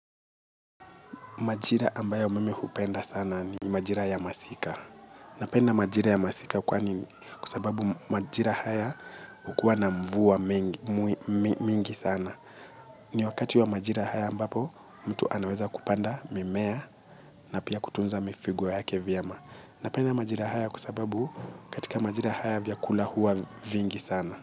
Majira ambayo mimi hupenda sana ni majira ya masika. Napenda majira ya masika kwa sababu majira haya hukua na mvua mingi sana. Ni wakati wa majira haya ambapo mtu anaweza kupanda mimea na pia kutunza mifugo yake vyema. Napenda majira haya kwa sababu katika majira haya vyakula huwa vingi sana.